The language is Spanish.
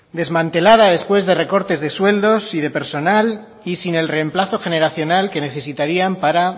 desmantelada después de recortes de sueldos y de personal y sin el remplazo generacional que necesitarían para